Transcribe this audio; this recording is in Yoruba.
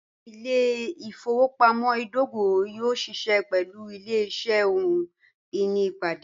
Ìlẹ̀-ifowopamọ̀ idògò yóò ṣíṣẹ pẹ̀lú ìlẹ̀-iṣẹ̀ ọhun-iní laipẹ̀